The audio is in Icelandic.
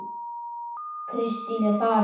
Kristín er farin